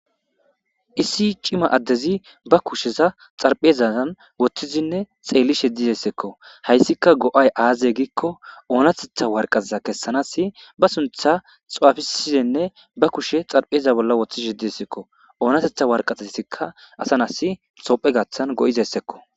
iisi cima addezi ba kusheza xarphezaan woththizinne xeellishe dizessekko hayssika go7ay aaze giikko oonatetha warqaza kessanasi ba suntha xawafisizenne ba kushe xarpheza bolla woththi shediessekko oonatetha warqateikka asanasi sophe gaaththan go7izessekko